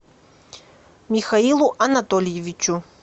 михаилу анатольевичу